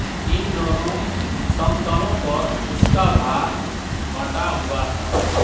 इन दोनों समतलों पर उसका भार बँटा हुआ था